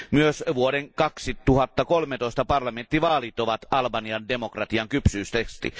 Myös vuoden 2013 parlamenttivaalit ovat Albanian demokratian kypsyystesti.